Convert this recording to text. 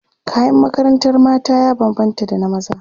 kayan makarantar mata ya banbanta da na maza